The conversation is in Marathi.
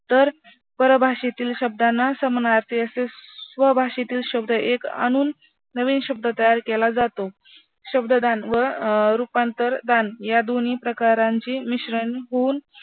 तर परभाषेतील शब्दांना समानार्थी असे स्वभाषेतील शब्द एक आणून नवीन शब्द तयार केला जातो. शब्ददान व अं रूपांतरदान या दोन्ही प्रकारांचे मिश्रण होऊन